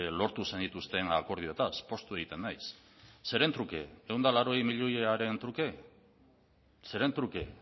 lortu zenituzten akordioetaz poztu egiten naiz zeren truke ehun eta laurogei milioiaren truke zeren truke